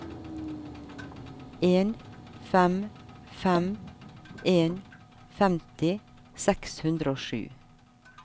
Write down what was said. en fem fem en femti seks hundre og sju